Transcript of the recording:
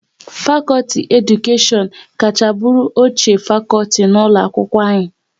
Fakọlti Edukashion kacha bụrụ ochie fakọlti n'ụlọ akwụkwọ anyị